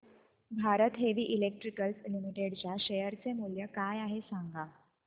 Bharat heavy electricals limited च्या share चे मूल्य काय आहे सांगा